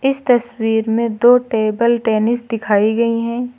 इस तस्वीर में दो टेबल टेनिस दिखाई गई है।